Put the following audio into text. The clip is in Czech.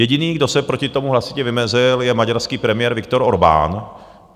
Jediný, kdo se proti tomu hlasitě vymezil, je maďarský premiér Viktor Orbán.